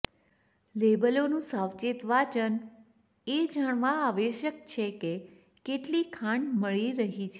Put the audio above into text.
લેબલોનું સાવચેત વાંચન એ જાણવા આવશ્યક છે કે કેટલી ખાંડ મળી રહી છે